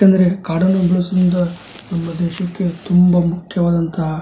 ಯಾಕಂದೆರೆ ಕಾಡನ್ನು ಬೆಳೆಸುವುದು ನಮ್ಮ ದೇಶಕ್ಕೆ ತುಂಬಾ ಮುಖ್ಯವಾದಂಥ --